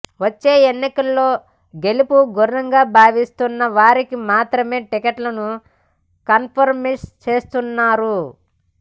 వచ్చే ఎన్నికల్లో గెలుపు గుర్రంగా భావిస్తున్న వారికి మాత్రమే టికెట్లను కన్ఫర్మ్ చేస్తున్నారు